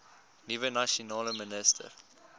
nuwe nasionale minister